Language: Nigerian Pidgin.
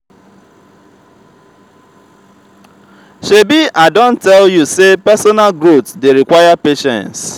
shebi i don tell you sey personal growth dey require patience.